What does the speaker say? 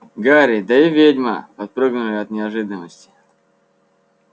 гарри да и ведьма подпрыгнули от неожиданности